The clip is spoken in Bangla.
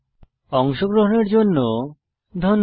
অংশগ্রহনের জন্য ধন্যবাদ